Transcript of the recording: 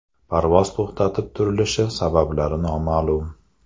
Parvoz to‘xtatib turilishi sabablari noma’lum.